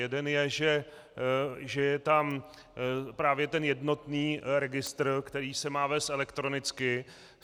Jeden je, že je tam právě ten jednotný registr, který se má vést elektronicky.